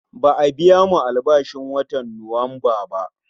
Ba'a biyamu albashin watan Nuwamba ba